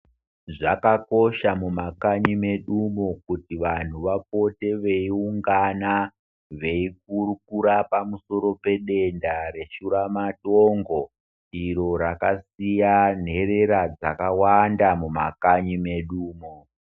Zvakakosha mumakanyi medumomo kuti vantu vapote veiungana veikurukura pamusoro pedenda, reshuramatongo, iro rakasiya nherera dzakawanda mumakanyi medumo.